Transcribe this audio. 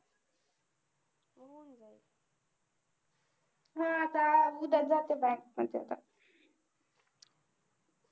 हा आता उद्या च जाते bank मध्ये